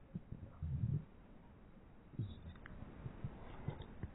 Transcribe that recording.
teneuni ilpaek tenebo naa kegol o nkulie daiki, ashu tenaa legumes